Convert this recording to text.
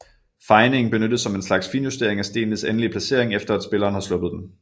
Fejningen benyttes som en slags finjustering af stenens endelige placering efter at spilleren har sluppet den